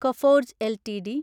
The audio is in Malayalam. Coforge LTD